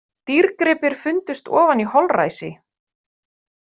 Dýrgripir fundust ofan í holræsi